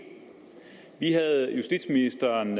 vi havde justitsministeren